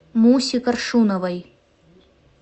мусе коршуновой